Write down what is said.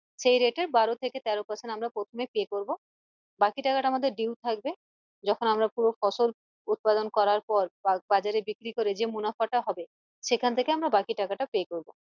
সেই rate এর বারো থেকে তেরো percent আমরা প্রথমে pay করবো বাকি টাকা টা আমাদের due থাকবে যখন আমরা পুরো ফসল উৎপাদন করার পর বাজারে বিক্রি করে যে মুনাফাটা হবে সেখান থেকে আমরা বাকি টাকা টা pay করবো